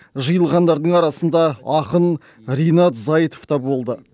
жиылғандардың арасында ақын ринат зайытов та болды